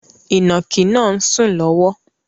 Ìnàkí na ń sùn lọ́wọ́